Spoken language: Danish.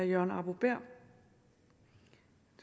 jørgen arbo bæhr